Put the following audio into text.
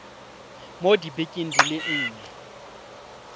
mo dibekeng di le nne